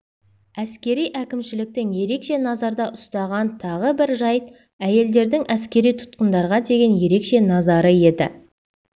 әскери әкімшіліктің ерекше назарда ұстаған тағы бір жәйт әйелдердің әскери тұтқындарға деген ерекше назары еді